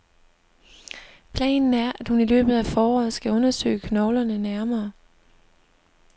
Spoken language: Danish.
Planen er, at hun i løbet af foråret skal undersøge knoglerne nærmere.